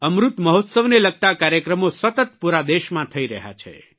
અમૃત મહોત્સવને લગતા કાર્યક્રમો સતત પૂરા દેશમાં થઇ રહ્યા છે